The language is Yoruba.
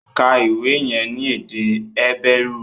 Ka ìwé yẹn ní èdè Hébérù!